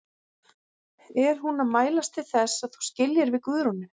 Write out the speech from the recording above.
Er hún að mælast til þess að þú skiljir við Guðrúnu?